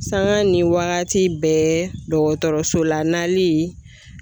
Sanga ni wagati bɛɛ dɔgɔtɔrɔso la nalii